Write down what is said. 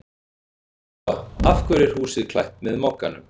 Lóa: Af hverju er húsið klætt með Mogganum?